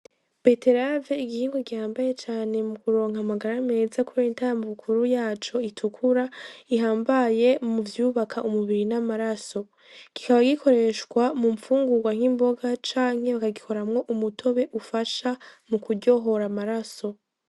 Beterave igihingwa gihambaye cane mu kuronka amagara meza kubera intambukuru yaco itukura ihambaye muvyubaka umubiri n'amaraso, kikaba gikoreshwa mu mfungugwa nk'imboga canke bakagikoramwo umutobe ifasha mukuryohora amaraso.